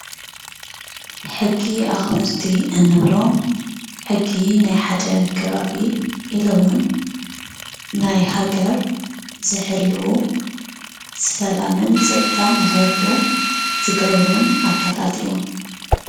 ሕጊ ኣኽበርቲ እንብሎም ሕጊ ናይ ሓደ ከባቢ ኢሉውን ናይ ሃገር ዝሕልዉ ሰላምን ፀጥታን ንክህሉ ዝገብሩን ኣካላት እዮም፡፡